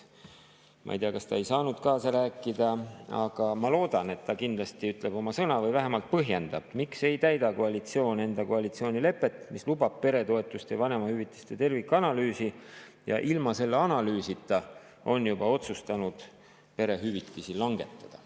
Ma ei tea, kas ta ei saanud kaasa rääkida, aga ma loodan, et ta kindlasti ütleb oma sõna või vähemalt põhjendab, miks ei täida koalitsioon enda koalitsioonilepet, mis lubab peretoetuste ja vanemahüvitiste tervikanalüüsi, ja ilma selle analüüsita on juba otsustanud perehüvitisi langetada.